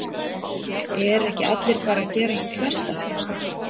Eru ekki allir að gera sitt besta?